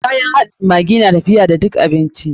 Kayan haɗin maggi na tafiya da duk abinci.